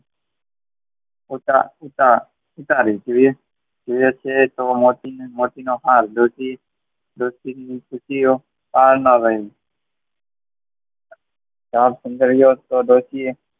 કુતરા સુતા મોતીનો હાર ડોસી ખુશીઓનો પાર ના રહ્યો તો ડોસીએ